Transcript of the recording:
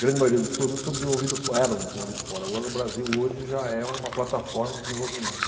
grande maioria dos produtos são desenvolvidos fo, eram desenvolvidos fora, agora o Brasil hoje já é uma plataforma de desenvolvimento.